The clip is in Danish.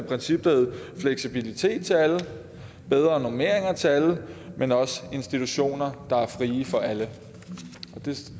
princip der hed fleksibilitet til alle og bedre normeringer til alle men også institutioner der er frie for alle